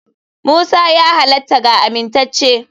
Musa ya halatta ga amintacce.